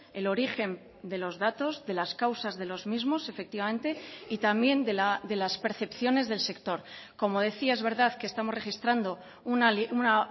el origen de los datos de las causas de los mismos efectivamente y también de las percepciones del sector como decía es verdad que estamos registrando una